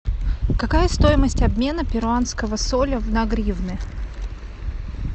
какая стоимость обмена перуанского соля на гривны